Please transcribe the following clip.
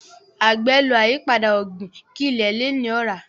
agbe ló ayipada ogbin kí ile lẹ ní ora.